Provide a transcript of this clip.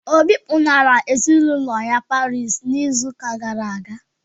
Obi kpọlara ezinaụlọ ya Parii n'izu ụka gara aga.